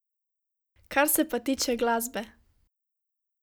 Kar se pa tiče glasbe.